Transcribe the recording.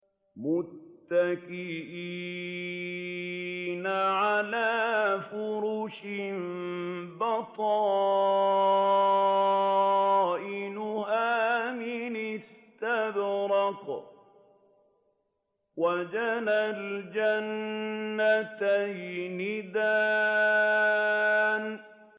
مُتَّكِئِينَ عَلَىٰ فُرُشٍ بَطَائِنُهَا مِنْ إِسْتَبْرَقٍ ۚ وَجَنَى الْجَنَّتَيْنِ دَانٍ